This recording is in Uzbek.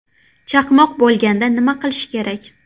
Chaqmoq bo‘lganda nima qilish kerak?.